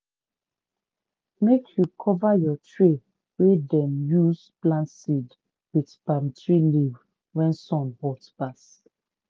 make you cover your tray wey dem use plant seed with palm tree leaf when sun hot pass